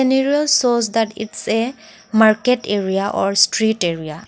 nervous shows that it's a market area or street area.